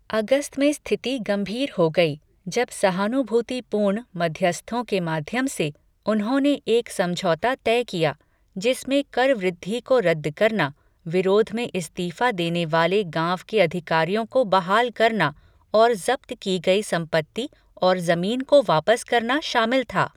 अगस्त में स्थिति गंभीर हो गई, जब सहानुभूतिपूर्ण मध्यस्थों के माध्यम से, उन्होंने एक समझौता तय किया जिसमें कर वृद्धि को रद्द करना, विरोध में इस्तीफ़ा देने वाले गाँव के अधिकारियों को बहाल करना और जब्त की गई संपत्ति और जमीन को वापस करना शामिल था।